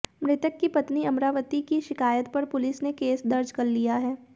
मृतक की पत्नी अमरावती की शिकायत पर पुलिस ने केस दर्ज कर लिया है